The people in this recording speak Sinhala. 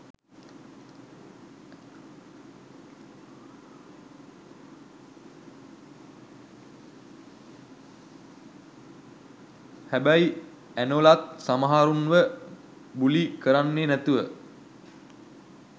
හැබැයි ඇනොලත් සමහරුන්ව බුලි කරන්නේ නැතුව